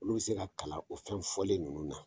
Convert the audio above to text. Olu be se ka kalan o fɛn fɔlen ninnu na